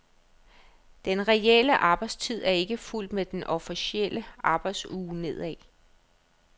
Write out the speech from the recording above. Den reelle arbejdstid er ikke fulgt med den officielle arbejdsuge nedad.